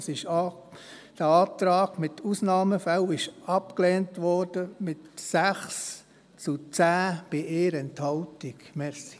der SiK. Der Antrag mit «Ausnahmefällen» wurde mit 6 zu 10 Stimmen bei 1 Enthaltung abgelehnt.